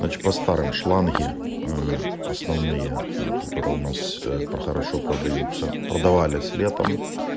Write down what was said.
по старым шланги основные которые у нас про хорошо продаются продавались летом